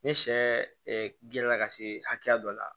Ni sɛ gerenna ka se hakɛya dɔ la